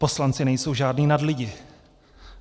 Poslanci nejsou žádní nadlidi."